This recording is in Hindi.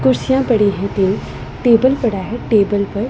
कुर्सियाँ पड़ी हैं तीन टेबल पड़ा हैं टेबल पर--